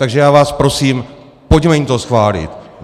Takže já vás prosím, pojďme jim to schválit.